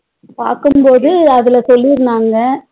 பாக்கும்போது அதுல சொல்லிருந்தாங்க